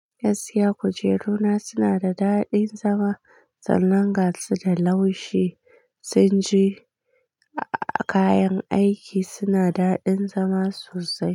Gaskiya kujeruna suna da daɗin zama, sannan gashu da laushi, tsinji a kayan aiki suna daɗin zama sosai.